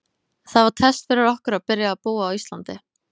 Það var test fyrir okkur að byrja að búa á Íslandi.